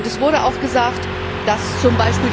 Es wurde auch gesagt, dass z.